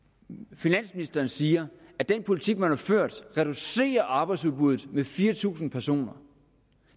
finansministeren siger at den politik man har ført reducerer arbejdsudbuddet med fire tusind personer